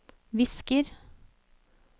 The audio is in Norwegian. visker